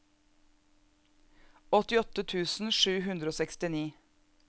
åttiåtte tusen sju hundre og sekstini